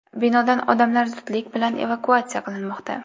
Binodan odamlar zudlik bilan evakuatsiya qilinmoqda.